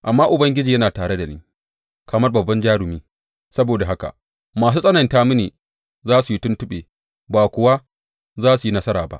Amma Ubangiji yana tare da ni kamar babban jarumi; saboda haka masu tsananta mini za su yi tuntuɓe ba kuwa za su yi nasara ba.